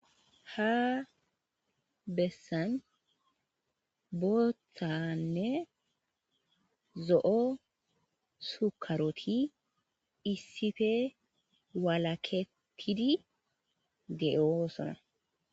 Ha bessan boothanne zo7o sukkaroti issipe walakettidi de7oosona.